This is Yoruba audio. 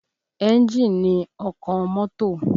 Ẹ́ńjì ni ọkàn mọ́tò